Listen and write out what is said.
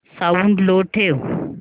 sound लो ठेव